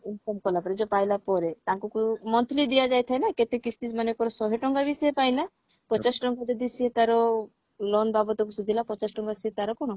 income କଲା ପରେ ଯଉ ପାଇଲା ପରେ ତାଙ୍କୁ monthly ଦିଆଯାଇଥାଏ ନା କେତେ କିସ୍ତି ସେ ମନେକର ଶହେ ଟଙ୍କାବି ସେ ପାଇଲା ପଚାଶ ଟଙ୍କା ଯଦି ସିଏ ତାର loan ବାବଦକୁ ସୁଝିଲା ପଚାଶ ଟଙ୍କା ସେ ତାର କଣ